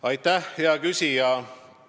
Aitäh, hea küsija!